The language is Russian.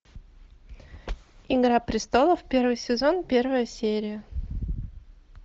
игра престолов первый сезон первая серия